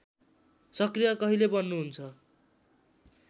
सक्रिय कहिले बन्नुहुन्छ